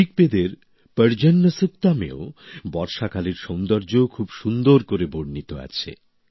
ঋকবেদের পর্জন্য সুক্তম এও বর্ষাকালের সৌন্দর্য খুব সুন্দর করে বর্ণিত আছে